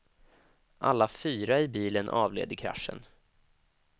Alla fyra i bilen avled i kraschen.